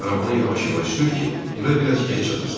Arabanı yavaş-yavaş sür ki, evə biraz gec çatasan.